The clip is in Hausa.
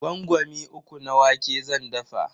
Gwangwami uku na wake zan dafa.